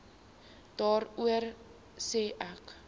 daarvoor sê ek